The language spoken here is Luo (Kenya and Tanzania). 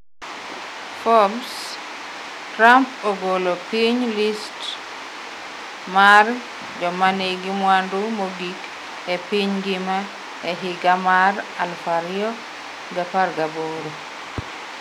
Forbes: Trump ogolo piny list mar jomanigi mwandu mogik e piny ngima e higa mar 2018